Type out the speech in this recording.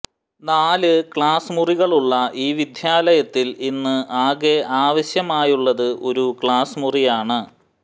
നാല് ക്ലാസ് മുറികളുള്ള ഈ വിദ്യാലയത്തിൽ ഇന്ന് ആകെ ആവശ്യമായുള്ളത് ഒരു ക്ലാസ് മുറിയാണ്